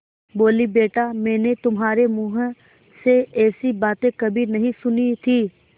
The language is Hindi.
बोलीबेटा मैंने तुम्हारे मुँह से ऐसी बातें कभी नहीं सुनी थीं